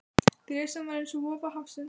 Gresjan var eins og vofa hafsins.